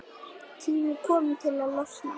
Tími kominn til að losna.